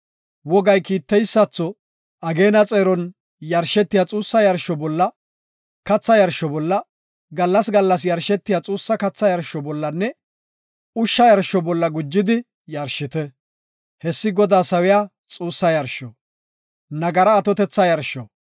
Wogay kiiteysatho, ageena xeeron yarshetiya xuussa yarsho bolla, katha yarsho bolla, gallas gallas yarshetiya xuussa katha yarsho bollanne ushsha yarsho bolla gujidi yarshite; hessi Godaa sawiya xuussa yarsho.